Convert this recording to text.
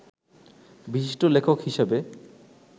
বিশিষ্ট লেখক হিসেবে